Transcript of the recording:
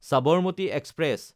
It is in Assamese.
চাবাৰমাটি এক্সপ্ৰেছ